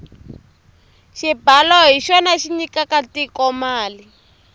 xibalo hi xona xi nyikaka tiko mali